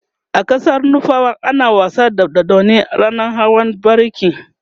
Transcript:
a ƙasar nufawa ana wasa da dodanni ranan hawan bariki